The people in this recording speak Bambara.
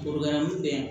bɛ yan